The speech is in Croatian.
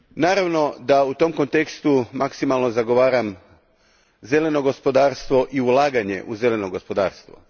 Naravno da u tom kontekstu maksimalno zagovaram zeleno gospodarstvo i ulaganje u zeleno gospodarstvo.